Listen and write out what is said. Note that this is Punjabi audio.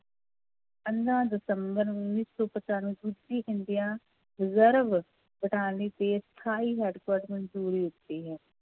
ਪੰਦਰਾਂ ਦਿਸੰਬਰ ਉੱਨੀ ਸੌ ਇੰਡੀਆ reserve ਤੇ ਸਥਾਈ headquarter ਮੰਨਜ਼ੂਰੀ ਦਿੱਤੀ ਹੈ l